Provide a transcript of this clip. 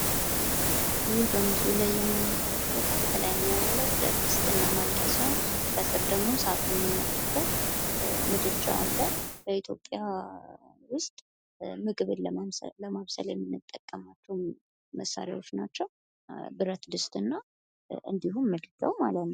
ይህ በምስሉ ላይ የምንመለከተው ከላይኛው ያለው ብረት ድስትና ማንኪያ ሲሆን ከስር ደግሞ እሳት የሚነድበት ምድጃ አለ። ኢትዮጵያ ውስጥ ምግብን ለማብሰል የምንጠቀማቸው መሳሪያዎች ናቸው። ብረት ድስት እና እንድሁም ምድጃው ማለት ነው።